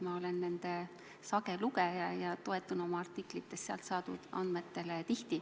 Ma olen nende sage lugeja ja toetun oma artiklites tihti just sealt saadud andmetele.